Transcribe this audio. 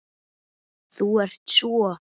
Þú ert svo.